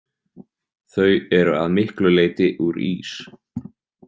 Þau eru að miklu leyti úr ís.